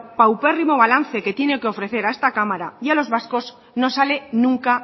paupérrimo balance que tienen que ofrecer a esta cámara y a los vascos no sale nunca